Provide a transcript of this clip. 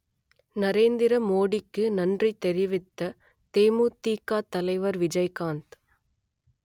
நரேந்திர மோடிக்கு நன்றி தெரிவித்த தேமுதிக தலைவர் விஜய்காந்த்